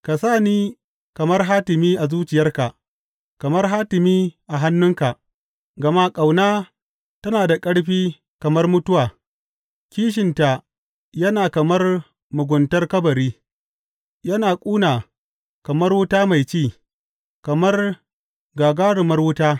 Ka sa ni kamar hatimi a zuciyarka, kamar hatimi a hannunka; gama ƙauna tana da ƙarfi kamar mutuwa, kishinta yana kamar muguntar kabari, yana ƙuna kamar wuta mai ci, kamar gagarumar wuta.